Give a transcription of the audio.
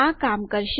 આ કામ કરશે